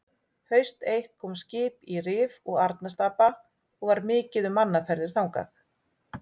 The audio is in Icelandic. Haust eitt kom skip í Rif og Arnarstapa og var mikið um mannaferðir þangað.